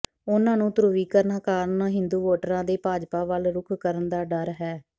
ਉਨ੍ਹਾਂ ਨੂੰ ਧਰੁਵੀਕਰਨ ਕਾਰਨ ਹਿੰਦੂ ਵੋਟਰਾਂ ਦੇ ਭਾਜਪਾ ਵੱਲ ਰੁਖ ਕਰਨ ਦਾ ਡਰ ਹੈ